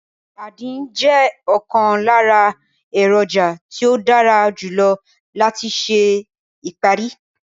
Àdín jẹ́ ọ̀kan lára èròjà tí ó dára jù lọ láti ṣe ìparí